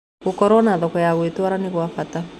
Gũkorwo na thoko ya gũtwĩrĩa nĩgwa bata